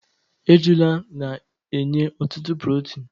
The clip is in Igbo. ejula na-enye ọtụtụ protin